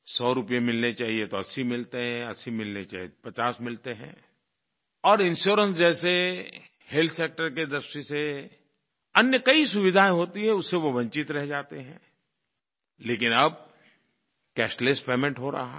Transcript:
100 रूपए मिलने चाहिये तो 80 मिलते हैं 80 मिलने चाहिये तो 50 मिलते हैं और इंश्योरेंस जैसे हेल्थ सेक्टर की दृष्टि से अन्य कई सुविधाएँ होती हैं उससे वो वंचित रह जाते हैं लेकिन अब कैशलेस पेमेंट हो रहा है